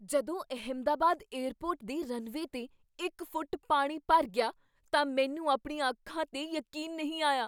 ਜਦੋਂ ਅਹਿਮਦਾਬਾਦ ਏਅਰਪੋਰਟ ਦੇ ਰਨਵੇ 'ਤੇ ਇਕ ਫੁੱਟ ਪਾਣੀ ਭਰ ਗਿਆ ਤਾਂ ਮੈਨੂੰ ਆਪਣੀਆਂ ਅੱਖਾਂ 'ਤੇ ਯਕੀਨ ਨਹੀਂ ਆਇਆ।